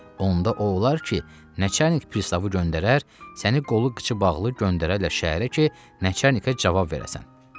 Onda o olar ki, nəçanik pristavı göndərər, səni qolu qıçı bağlı göndərərlər şəhərə ki, nəçanika cavab verəsən.